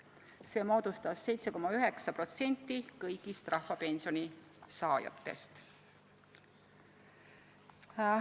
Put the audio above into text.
See moodustas 7,9% kõigist rahvapensioni saajatest.